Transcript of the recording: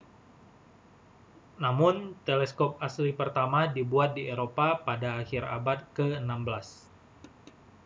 namun teleskop asli pertama dibuat di eropa pada akhir abad ke-16